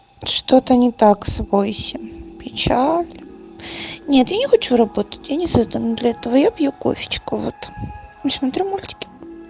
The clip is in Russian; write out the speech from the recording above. что-то не так с войси печаль нет я не хочу работать я не создана для этого я пью кофе вот и смотрю мультики